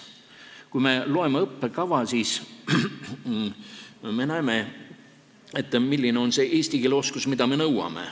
Kui me loeme õppekava, siis me näeme, milline on see eesti keele oskus, mida me nõuame.